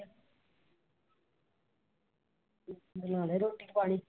ਬਣਾ ਲਾਇਆ ਰੋਟੀ ਪਾਣੀ।